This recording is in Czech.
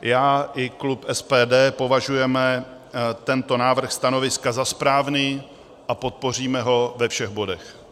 Já i klub SPD považujeme tento návrh stanoviska za správný a podpoříme ho ve všech bodech.